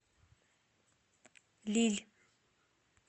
лилль